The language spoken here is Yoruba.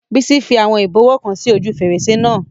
Bísí fi àwọn ìbọwọ́ kan sí ojú fèrèsé náà